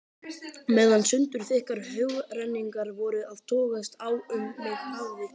Meðan sundurþykkar hugrenningar voru að togast á um mig hafði